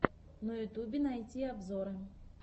на ютьюбе найти обзоры